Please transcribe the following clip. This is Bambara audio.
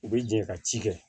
U bɛ jɛ ka ci kɛ